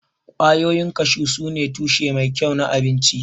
Ƙwayoyin kashu sune tushe mai kyau na abinci.